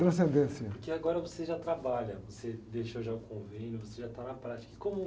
Transcendência.orque agora você já trabalha, você deixou já o convênio, você já está na prática.